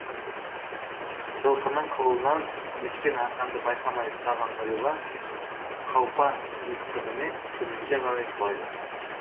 жылқының қылынан ескен арқанды байқамай ұстаған нұрила қаупа екпінімен төменге қарай құлайды